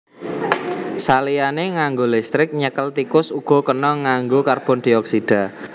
Saliyané nganggo listrik nyekel tikus uga kena nganggo karbondioksida